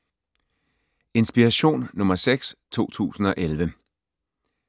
Inspiration nr. 6 2011